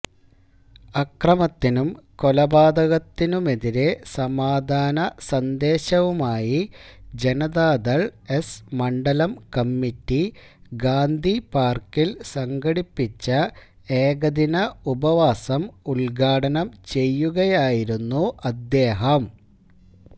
അക്രമത്തിനും കൊലപാതകത്തിനുമെതിരെ സമാധാന സന്ദേശവുമായി ജനതാദള് എസ് മണ്ഡലം കമ്മറ്റി ഗാന്ധിപാര്ക്കില് സംഘടിപ്പിച്ച ഏകദിന ഉപവാസം ഉദ്ഘാടനം ചെയ്യുകയായിരുന്നു അദ്ദേഹം